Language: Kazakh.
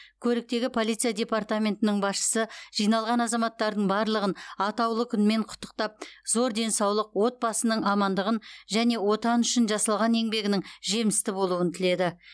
көліктегі полиция департаментінің басшысы жиналған азаматтардың барлығын атаулы күнмен құттықтап зор денсаулық отбасының амандығын және отан үшін жасалған еңбегінің жемісті болуын тіледі